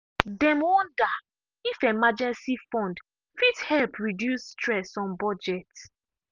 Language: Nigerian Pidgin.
dem wonder if emergency fund fit help reduce stress on budget.